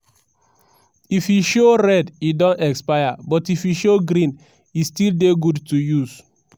if e show red e don expire but if e show green e still dey good to use.